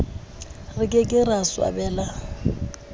re ke ke ra swabela